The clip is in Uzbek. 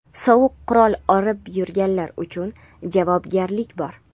Sovuq qurol olib yurganlik uchun javobgarlik bor.